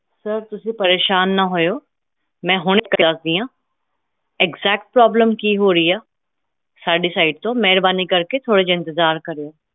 sir ਤੁਸੀਂ ਪ੍ਰੇਸ਼ਾਨ ਨਾ ਹੋਇਆ ਮੈਂ ਹੁਣਿ ਦਸਦੀ ਆ exactproblem ਕਿ ਹੋ ਰਹੀ ਆ side ਤੋਂ ਮੇਹਰਬਾਨੀ ਕਰਕੇ ਥੋੜਾ ਜੇਹਾ ਇੰਤਜ਼ਾਰ ਕਰੋ